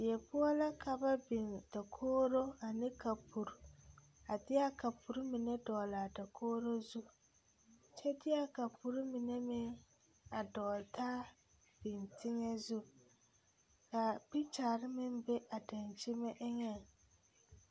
Die poɔ la ka ba biŋ dakogro ane kapuri a de a kapuri mine dɔgle a dakogro zu kyɛ de a kapuri mine meŋ a dɔgle taa biŋ teŋɛ zu ka pikikyare meŋ be a dankyime eŋɛŋ.